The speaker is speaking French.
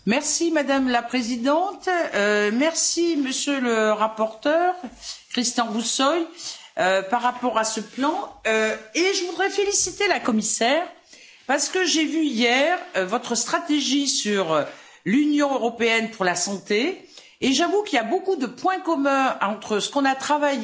Madame la Présidente, Monsieur le Rapporteur, Cristian Buşoi, par rapport à ce plan, je voudrais féliciter la Commissaire parce que j'ai vu, hier, votre stratégie sur l'Union européenne pour la santé, et j'avoue qu'il y a beaucoup de points communs entre ce que nous avons travaillé